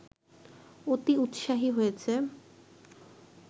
অতি উৎসাহী হয়েছে